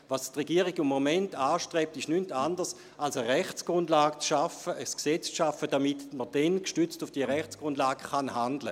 Was die Regierung im Moment anstrebt, ist nichts anderes als eine Rechtsgrundlage zu schaffen, ein Gesetz zu schaffen, damit man dann gestützt auf diese Rechtsgrundlage handeln kann.